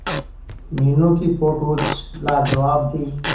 मीनू की फोटोज लाजवाब थी